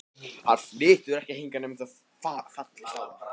Hann flytur ekki hingað nema þú fallist á það.